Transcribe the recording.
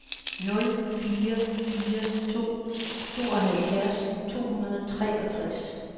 nul fire fire to tooghalvfjerds to hundrede og treogtres